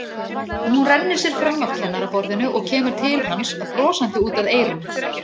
Hún rennir sér fram af kennaraborðinu og kemur til hans brosandi út að eyrum.